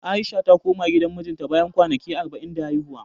A'isha ta koma gidan mijinta, bayan kwanaki arba'in da haihuwa.